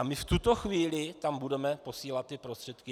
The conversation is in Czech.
A my v tuto chvíli tam budeme posílat ty prostředky.